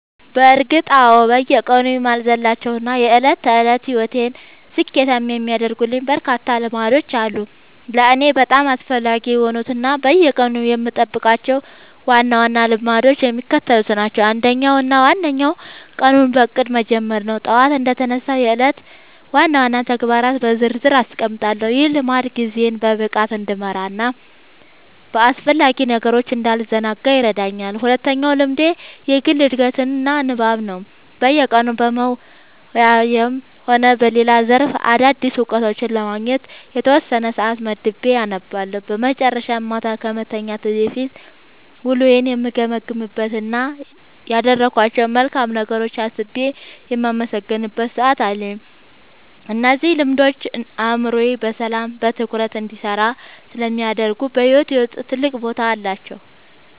በእርግጥ አዎ፤ በየቀኑ የማልዘልላቸው እና የዕለት ተዕለት ሕይወቴን ስኬታማ የሚያደርጉልኝ በርካታ ልምዶች አሉ። ለእኔ በጣም አስፈላጊ የሆኑት እና በየቀኑ የምጠብቃቸው ዋና ዋና ልምዶች የሚከተሉት ናቸው፦ አንደኛው እና ዋነኛው ቀኑን በእቅድ መጀመር ነው። ጠዋት እንደተነሳሁ የዕለቱን ዋና ዋና ተግባራት በዝርዝር አስቀምጣለሁ፤ ይህ ልምድ ጊዜዬን በብቃት እንድመራና በአላስፈላጊ ነገሮች እንዳልዘናጋ ይረዳኛል። ሁለተኛው ልምዴ የግል ዕድገትና ንባብ ነው፤ በየቀኑ በሙያዬም ሆነ በሌላ ዘርፍ አዳዲስ እውቀቶችን ለማግኘት የተወሰነ ሰዓት መድቤ አነባለሁ። በመጨረሻም፣ ማታ ከመተኛቴ በፊት ውሎዬን የምገመግምበት እና ያደረግኳቸውን መልካም ነገሮች አስቤ የማመሰግንበት ሰዓት አለኝ። እነዚህ ልምዶች አእምሮዬ በሰላምና በትኩረት እንዲሰራ ስለሚያደርጉ በሕይወቴ ውስጥ ትልቅ ቦታ አላቸው።"